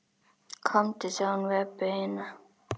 Komdu, sagði hún við Öbbu hina.